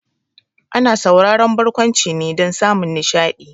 Ana sauraron barkwanci ne dan samun nishaɗi